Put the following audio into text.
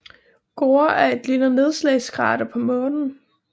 Gore er et lille nedslagskrater på Månen